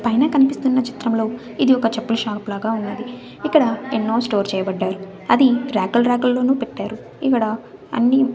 పైన కనిపిస్తున్న చిత్రంలో ఇది ఒక చెప్పుల షాపు లాగా ఉన్నది ఇక్కడ ఎన్నో స్టోర్ చేయబడ్డారు అది ర్యాకు ర్యాకుల్లోనూ పెట్టారు ఇక్కడ అన్ని--